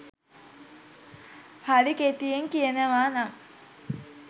හරි කෙටියෙන් කියනවා නම්